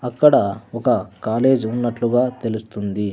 అక్కడ ఒక కాలేజ్ ఉన్నట్లుగా తెలుస్తుంది.